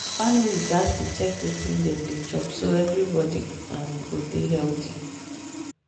families gats dey check wetin dem dey chop so everybody go um dey healthy.